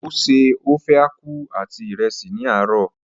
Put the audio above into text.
O se ofe aku àti ìrẹsì ní àárò.